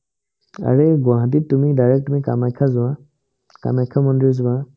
আৰে, গুৱাহাটীত তুমি direct তুমি কামাখ্যাত যোৱা কামাখ্যা মন্দিৰ যোৱা